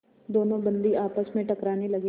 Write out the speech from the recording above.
दोनों बंदी आपस में टकराने लगे